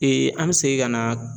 an bɛ segin ka na .